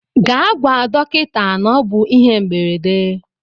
Gaa gwa dọkịta na ọ bụ ihe mberede.